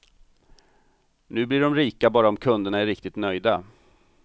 Nu blir de rika bara om kunderna är riktigt nöjda.